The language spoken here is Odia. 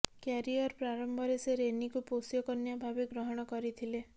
କ୍ୟାରିଅର ପ୍ରାରମ୍ଭରେ ସେ ରେନିକୁ ପୋଷ୍ୟକନ୍ୟା ଭାବେ ଗ୍ରହଣ କରିଥିଲେ